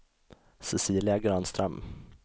Cecilia Granström